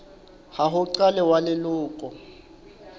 wa ho qala wa leloko